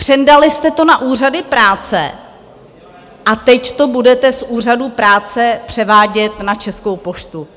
Přendali jste to na úřady práce a teď to budete z úřadů práce převádět na Českou poštu.